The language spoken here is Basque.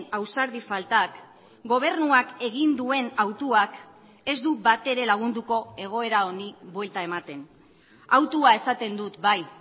ausardi faltak gobernuak egin duen hautuak ez du batere lagunduko egoera honi buelta ematen hautua esaten dut bai